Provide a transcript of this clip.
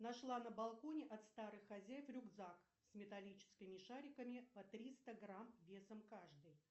нашла на балконе от старых хозяев рюкзак с металлическими шариками по триста грамм весом каждый